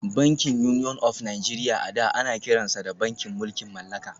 Bankin Union of Nigeria a da ana kiransa da bankin mulkin mallaka